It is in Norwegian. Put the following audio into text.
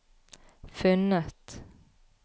funnet